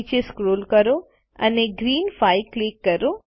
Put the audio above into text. નીચે સ્ક્રોલ કરો અને ગ્રીન 5 પર ક્લિક કરો